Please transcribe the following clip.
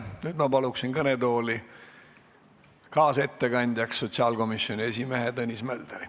Nüüd ma palun kõnetooli kaasettekandjaks sotsiaalkomisjoni esimehe Tõnis Mölderi.